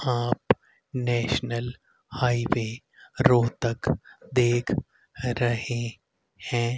आप national highway Rohtak तक देख रहे हैं।